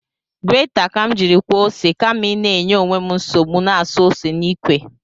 Greta ka m jiri kwọọ ose, kama ịna inye onwe m nsogbu na-esu ose n’ikwe